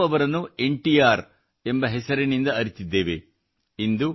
ನಾವೆಲ್ಲರೂ ಅವರನ್ನು N T R ಎಂಬ ಹೆಸರಿನಿಂದ ಅರಿತಿದ್ದೇವೆ